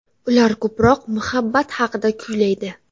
Ular ko‘proq muhabbat haqida kuylaydi.